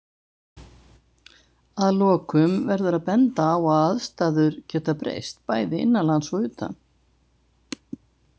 Að lokum verður að benda á að aðstæður geta breyst, bæði innanlands og utan.